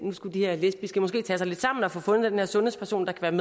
nu skulle de her lesbiske måske tage sig lidt sammen og få fundet den her sundhedsperson der kan